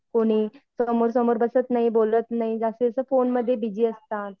कुणी समोर समोर बसत नाही बोलत नाही जास्त जास्त फोन मध्ये बीजी असतात.